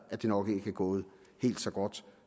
at det nok ikke er gået helt så godt